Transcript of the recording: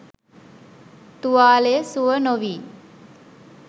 තුවාලය සුව නොවී